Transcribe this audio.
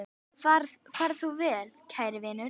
Far þú vel, kæri vinur.